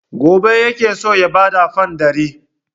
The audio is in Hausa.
Gobe yake so ya ba da fam ɗari.